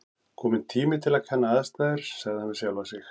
Kominn tími til að kanna aðstæður sagði hann við sjálfan sig.